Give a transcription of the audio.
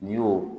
N'i y'o